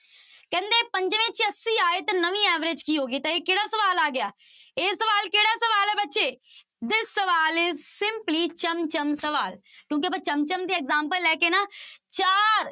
ਕਹਿੰਦੇ ਪੰਜਵੇਂ ਚ ਅੱਸੀ ਆਏ ਤਾਂ ਨਵੀਂ average ਕੀ ਹੋ ਗਈ ਤਾਂ ਇਹ ਕਿਹੜਾ ਸਵਾਲ ਆ ਗਿਆ, ਇਹ ਸਵਾਲ ਕਿਹੜਾ ਸਵਾਲ ਹੈ ਬੱਚੇ this ਸਵਾਲ is simply ਚਮ ਚਮ ਸਵਾਲ ਕਿਉਂਕਿ ਆਪਾਂ ਚਮ ਚਮ ਦੀ example ਲੈ ਕੇ ਨਾ ਚਾਰ